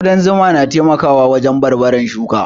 Ƙudan zuma na taimakawa wajen barbarar shuka